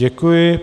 Děkuji.